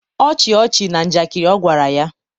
ọchị ọchị na njakịrị ọ gwara ya.